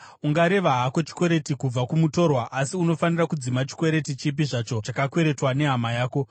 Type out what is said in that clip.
Ungareva hako chikwereti kubva kumutorwa, asi unofanira kudzima chikwereti chipi zvacho chakakweretwa nehama yako.